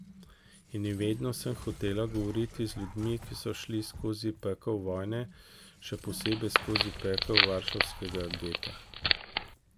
In vedno sem hotela govoriti z ljudmi, ki so šli skozi pekel vojne, še posebej skozi pekel varšavskega geta.